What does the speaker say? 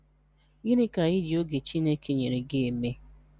Gịnị ka I ji oge Chineke nyere gị eme?